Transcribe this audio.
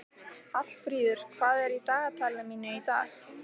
Hallfríður, hvað er í dagatalinu mínu í dag?